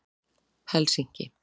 Helsinki